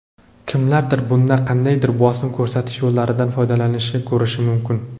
kimlardir bunda qandaydir bosim ko‘rsatish yo‘llaridan foydalanishni ko‘rishi mumkin.